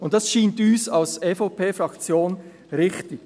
Dies scheint uns als EVP-Fraktion richtig.